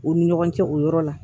U ni ɲɔgɔn cɛ o yɔrɔ la